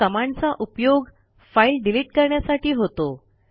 या कमांडचा उपयोग फाईल डिलिट करण्यासाठी होतो